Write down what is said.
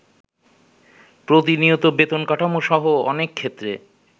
প্রতিনিয়ত বেতন কাঠামো সহ অনেকক্ষেত্রে